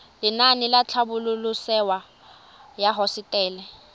lenaane la tlhabololosewa ya hosetele